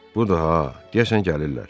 Buda ha, deyəsən gəlirlər.